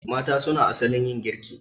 Mata suna asalin yin girki